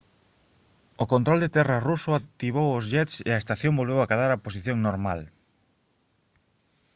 o control de terra ruso activou os jets e a estación volveu acadar a posición normal